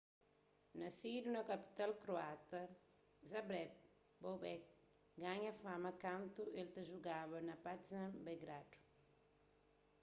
nasidu na kapital kroata zagreb bobek ganha fama kantu el ta jugaba pa partizan belgradu